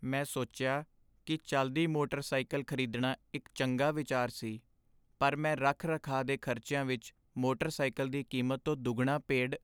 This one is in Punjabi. ਮੈਂ ਸੋਚਿਆ ਕੀ ਚੱਲਦੀ ਮੋਟਰ ਸਾਇਕਲ ਖ਼ਰੀਦਣਾ ਇੱਕ ਚੰਗਾ ਵਿਚਾਰ ਸੀ ਪਰ ਮੈਂ ਰੱਖ ਰਖਾਅ ਦੇ ਖ਼ਰਚਿਆਂ ਵਿੱਚ ਮੋਟਰ ਸਾਇਕਲ ਦੀ ਕੀਮਤ ਤੋਂ ਦੁੱਗਣਾ ਪੇਡ